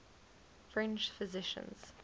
french physicians